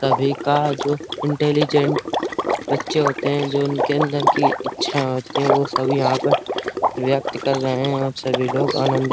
तभी का जो ईनटेलीजेंट बच्चे होते हैं जो उनके अंदर की इच्छा होती हैं वह सभी यहाँ पर व्यक्त कर रहे हैं और सभी लोग आनंद --